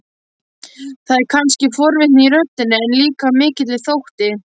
Það er kannski forvitni í röddinni, en líka mikill þótti.